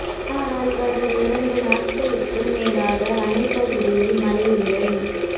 ஆனால் கடந்த இரண்டு நாட்களுக்கும் மேலாக அணை பகுதியில் மழை இல்லை